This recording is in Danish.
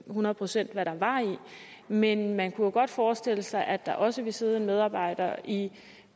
hundrede procent hvad var men man kunne jo godt forestille sig at der også ville sidde en medarbejder i